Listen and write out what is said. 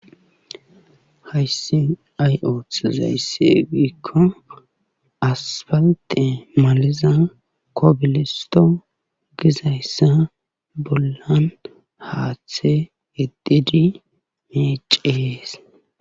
hayssin ayoothizayssi giikko aspalte maliza kobilisto gizayssa bollan haaththe gedidi meecees